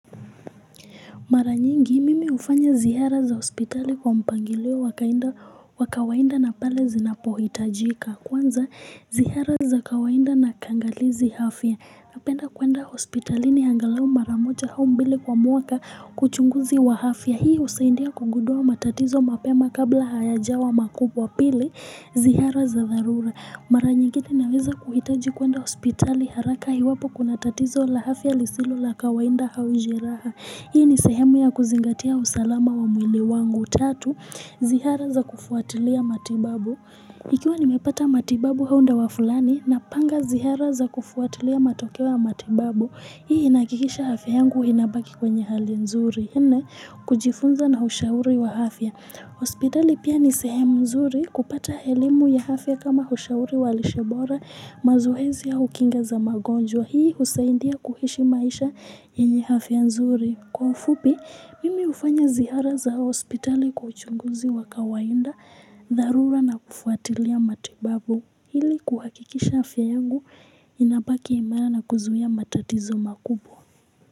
Maranyingi, mimi ufanya zihara za hospitali kwa mpangilio wakainda wakawainda na pale zinapohitajika. Kwanza, zihara za kawainda na kangalizi hafya. Apenda kwenda hospitali ni angalau maramocha hau mbili kwa mwaka kwa uchunguzi wa hafya. Hiyo usaindia kugudua matatizo mapema kabla hayajawa makubwa pili zihara za dharura. Maranyingine, naweza kuhitaji kwenda hospitali haraka hiwapo kuna tatizo la hafya lisilo la kawainda hau jeraha. Hii ni sehemu ya kuzingatia usalama wa mwili wangu. Tatu, zihara za kufuatilia matibabu. Ikiwa nimepata matibabu hau ndawa fulani, napanga zihara za kufuatilia matokeo matimbabu. Hii inaakikisha hafya yangu inabaki kwenye hali nzuri. Nne, kujifunza na hushauri wa hafya. Hospitali pia ni sehemu nzuri kupata elimu ya hafya kama hushauri wa lishe bora mazohezi au kinga za magonjwa. Na hii husaindia kuhishi maisha yenye hafya nzuri. Kwa ufupi, mimi ufanya zihara za hospitali kwa uchunguzi wa kawainda, dharura na kufuatilia matibabu. Hili kuhakikisha hafya yangu, inapaki imana na kuzuhia matatizo makubwa.